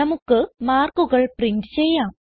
നമുക്ക് മാർക്കുകൾ പ്രിന്റ് ചെയ്യാം